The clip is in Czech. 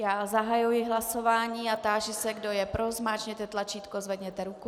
Já zahajuji hlasování a táži se, kdo je pro, zmáčkněte tlačítko, zvedněte ruku.